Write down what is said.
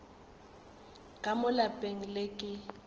ka mo lapeng le ke